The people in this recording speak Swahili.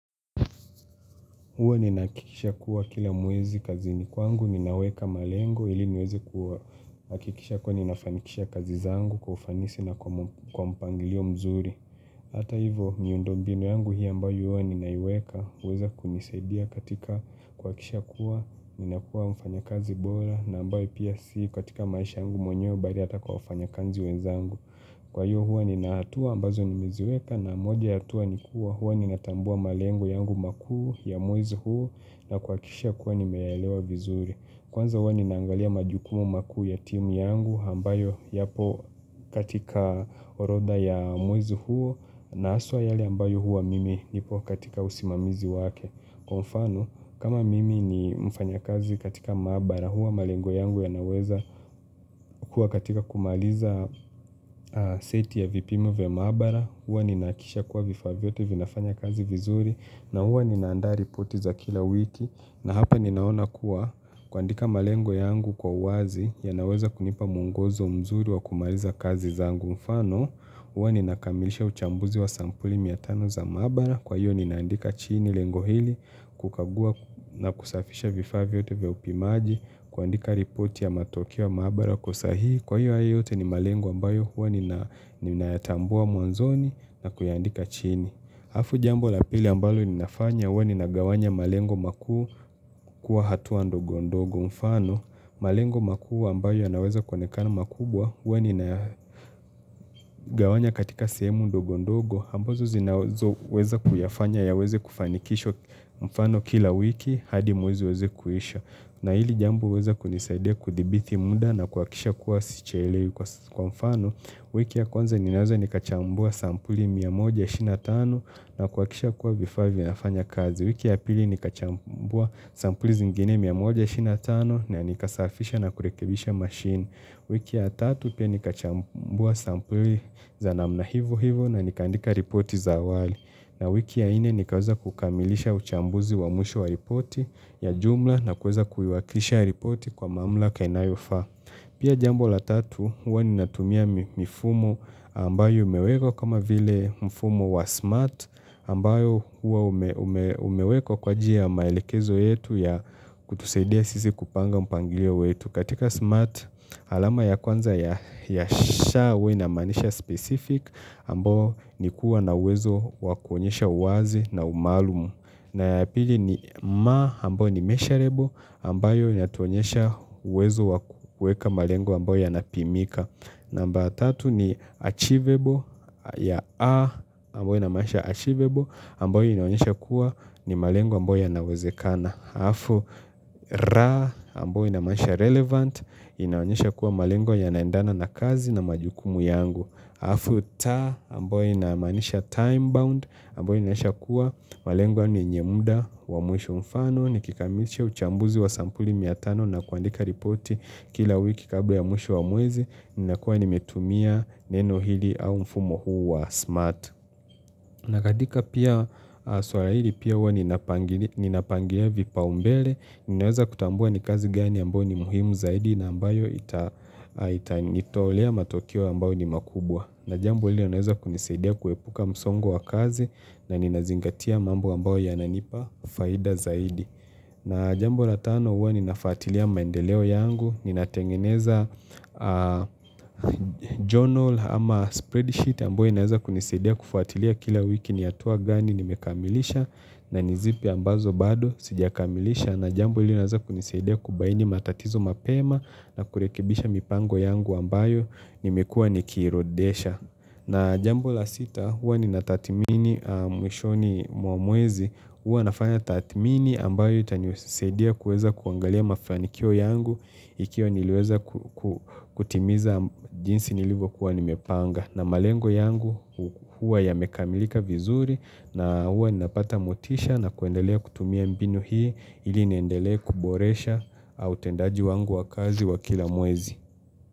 Huwa ninahakikisha kuwa kila mwezi kazini kwangu ninaweka malengo ili niweze kuhakikisha kuwa ninafanikisha kazi zangu kwa ufanisi na kwa mpangilio mzuri. Hata hivyo miundo mbinu yangu hii ambayo huwa ninaiweka huweza kunisaidia katika kuhakikisha kuwa ninakuwa mfanya kazi bora na ambaye pia si katika maisha yangu mwenyewe bali hata kwa wafanyakazi wenzangu. Kwa hiyo huwa nina hatua ambazo nimeziweka na moja ya hatua ni kuwa huwa ninatambua malengo yangu makuu ya mwezi huu na kuhakikisha kuwa nimeyaelewa vizuri. Kwanza huwa ninaangalia majukumu makuu ya timu yangu, ambayo yapo katika orodha ya mwezi huo na haswa yale ambayo huwa mimi nipo katika usimamizi wake. Kwa mfano, kama mimi ni mfanyakazi katika maabara, huwa malengo yangu yanaweza kuwa katika kumaliza seti ya vipimo vya maabara, huwa ninahakikisha kuwa vifaa vyote vinafanya kazi vizuri na huwa ninaandaa ripoti za kila wiki na hapa ninaona kuwa kuandika malengo yangu kwa uwazi yanaweza kunipa mwongozo mzuri wa kumaliza kazi zangu. Mfano, huwa ninakamilisha uchambuzi wa sampuli mia tano za maabara. Kwa hiyo ninaandika chini lengo hili kukagua na kusafisha vifaa vyote vya upimaji, kuandika ripoti ya matokeo ya maabara kwa usahihi. Kwa hiyo hayo yote ni malengo ambayo huwa ninayatambua mwanzoni, na kuyaandika chini. Halafu jambo la pili ambalo ninafanya huwa ninagawanya malengo makuu kuwa hatua ndogondogo. Mfano, malengo makuu ambayo yanaweza kuonekana makubwa huwa ninayagawanya katika sehemu ndogondogo ambazo zinazoweza kuyafanya yaweze kufanikishwa mfano kila wiki hadi mwezi uweze kuisha. Na hili jambo huweza kunisaidia kudhibiti muda na kuhakisha kuwa sichelewi. Kwa mfano, wiki ya kwanza ninaweza nikachambua sampuli mia moja ishirini na tano, na kuhakikisha kuwa vifaa vinafanya kazi. Wiki ya pili nikachambua sampuli zingine mia moja ishirini na tano na nikasafisha na kurekebisha machine. Wiki ya tatu pia nikachambua sampuli za namna hivo hivo na nikaandika ripoti za awali. Na wiki ya nne nikaweza kukamilisha uchambuzi wa mwisho wa ripoti ya jumla na kuweza kuiwakilisha ripoti kwa mamlaka inayofaa. Pia jambo la tatu, huwa ninatumia mifumo ambayo imewekwa kama vile mfumo wa SMART ambayo huwa umewekwa kwa ajili ya maelekezo yetu ya kutusaidia sisi kupanga mpangilio wetu. Katika smart alama ya kwanza ya 'sha' huwa inamaanisha 'specific' ambao ni kuwa na uwezo wa kuonyesha uwazi na umaalumu. Na ya pili ni 'ma' ambayo ni measureable ambayo inatuonyesha uwezo wa kuweka malengo ambayo yanapimika. Namba ya tatu ni achievable ya A ambayo inamaanisha achievable ambayo inaonyesha kuwa ni malengo ambayo yanawezekana. Alafu 'ra' ambayo inamaanisha relevant inaonyesha kuwa malengo yanaendana na kazi na majukumu yangu. Alafu 'ta' ambayo inamaanisha time bound ambayo inaonyesha kuwa malengo ni yenye muda wa mwisho. Mfano nikikamilisha uchambuzi wa sampuli mia tano na kuandika ripoti kila wiki kabla ya mwisho wa mwezi ninakuwa nimetumia neno hili au mfumo huu wa smart. Na katika pia swala hili pia huwa ninapangilia vipaumbele, ninaweza kutambua ni kazi gani ambayo ni muhimu zaidi na ambayo itanitolea matokeo ambayo ni makubwa. Na jambo hili linaweza kunisaidia kuepuka msongo wa kazi na ninazingatia mambo ambayo yananipa faida zaidi. Na jambo la tano huwa ninafuatilia maendeleo yangu, ninatengeneza journal ama spreadsheet ambayo inaeza kunisadia kufuatilia kila wiki ni hatua gani, nimekamilisha na ni zipi ambazo bado, sijakamilisha na jambo hili linaweza kunisadia kubaini matatizo mapema na kurekebisha mipango yangu ambayo, nimekua nikirodesha. Na jambo la sita huwa ninatathmini mwishoni mwa mwezi huwa nafanya tathmini ambayo itanisaidia kuweza kuangalia mafanikio yangu ikiwa niliweza kutimiza jinsi nilivyokuwa nimepanga. Na malengo yangu huwa yamekamilika vizuri na huwa ninapata motisha na kuendelea kutumia mbinu hii ili niendelee kuboresha au utendaji wangu wa kazi wa kila mwezi.